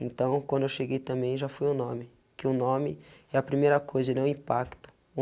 Então, quando eu cheguei também, já foi o nome, que o nome é a primeira coisa, ele é o impacto.